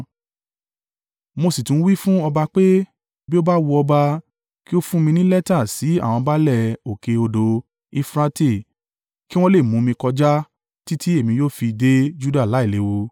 Mo sì tún wí fún ọba pé, “Bí ó bá wu ọba, kí ó fún mi ní lẹ́tà sí àwọn baálẹ̀ òkè odò Eufurate kí wọ́n le mú mi kọjá títí èmi yóò fi dé Juda láìléwu.